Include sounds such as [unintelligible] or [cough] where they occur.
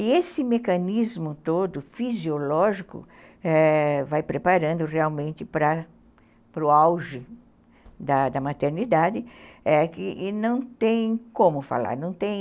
E esse mecanismo todo fisiológico, é... vai preparando realmente para o auge da maternidade [unintelligible] e não tem como falar, não tem